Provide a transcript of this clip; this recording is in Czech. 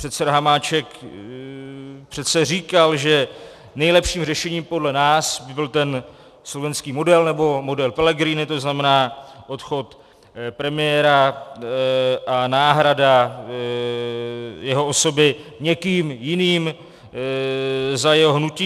Předseda Hamáček přece říkal, že nejlepším řešením podle nás by byl ten slovenský model, nebo model Pellegrini, to znamená odchod premiéra a náhrada jeho osoby někým jiným za jeho hnutí.